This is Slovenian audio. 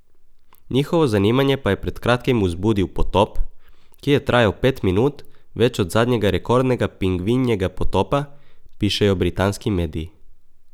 Njihovo zanimanje pa je pred kratkim vzbudil potop, ki je trajal pet minut več od zadnjega rekordnega pingvinjega potopa, pišejo britanski mediji.